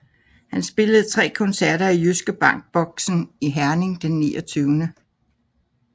Han spillede 3 koncerter i Jyske Bank Boxen i Herning den 29